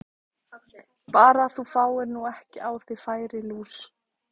Bara að þú fáir nú ekki á þig færilús!